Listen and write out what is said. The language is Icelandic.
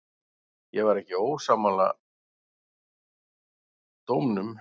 Ég var ekki sammála dómnum.